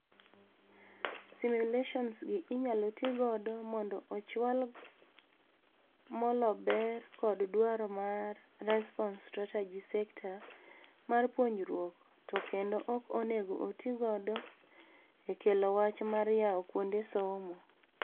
Simulations gi inyalo tii gido mondo ochwal molo ber kod dwaro mar response strategy sekta mar puonjruok to kendo ok onego otii godo eklo wach mar yao kuonde somo.